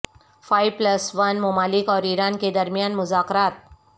five plus one ممالک اور Iran کے درمیان مذاکرات